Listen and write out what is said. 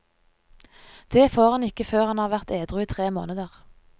Det får han ikke før han har vært edru i tre måneder.